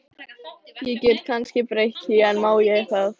Ég get kannski breytt því, en má ég það?